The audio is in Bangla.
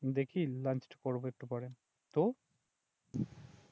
দেখি লাঞ্চ করবো একটু পরে, তোর?